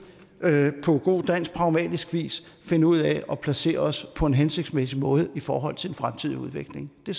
på god dansk pragmatisk vis finde ud af at placere os på en hensigtsmæssig måde i forhold til den fremtidige udvikling det